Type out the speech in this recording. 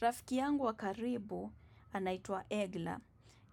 Rafiki yangu wa karibu anaitwa Egla.